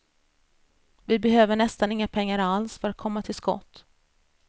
Vi behöver nästan inga pengar alls för att komma till skott.